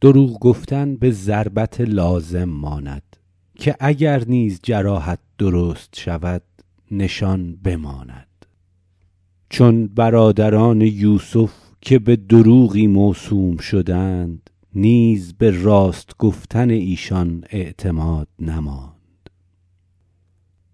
دروغ گفتن به ضربت لازم ماند که اگر نیز جراحت درست شود نشان بماند چون برادران یوسف که به دروغی موسوم شدند نیز به راست گفتن ایشان اعتماد نماند